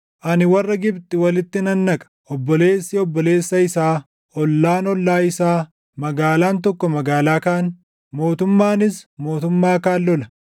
“Ani warra Gibxi walitti nan naqa; obboleessi obboleessa isaa, ollaan ollaa isaa, magaalaan tokko magaalaa kaan, mootummaanis mootummaa kaan lola.